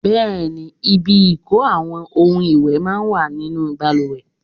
Bẹẹni, ibi ìko àwọn ohun ìwẹ̀ máa ń wà nínú bàlùwẹ̀.